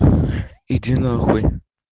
иди нахуй